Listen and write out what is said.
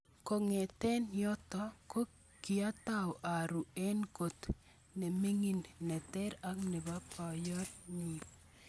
Kongete yoto ko kiatau aru eng kot nemingin neter ak nebo boyot nyun